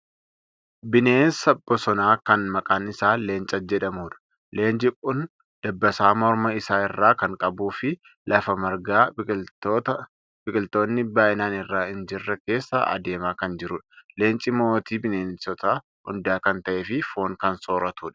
Bineensa bosonaa kan maqaan isaa leenca jedhamudha. Leenci kun dabbassaa morma isaa irraa kan qabuu fi lafa margaa biqiltoonni baay'inaan irra hin jirre keessa adeemaa kan jirudha. Leenci mootii bineensota hundaa kan ta'ee fi foon kan sooratudha.